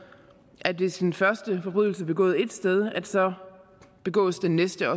at hvis den første forbrydelse er begået ét sted begås den næste